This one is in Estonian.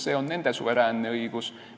See on nende suveräänne õigus.